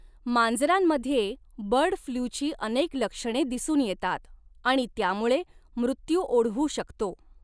मांजरांमध्ये bird फ्लूची अनेक लक्षणे दिसून येतात आणि त्यामुळे मृत्यू ओढवू शकतो.